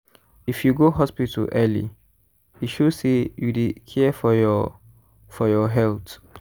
if you go hospital early e show say you dey care for your for your health.